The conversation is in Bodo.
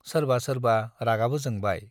सोरबा सोरबा रागाबो जोंबाय।